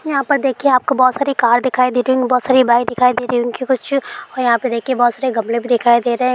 यहाँ पर देखिए आपको बहुत सारी कार दिखाई दे रही होंगी बहुत सारी बाइक दिखाई दे रही होंगी कुछ और यहाँ पे देखिए बहुत सारे गमले भी दिखाई दे रहे हैं।